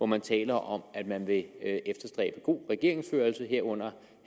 man taler om at man vil efterstræbe god regeringsførelse herunder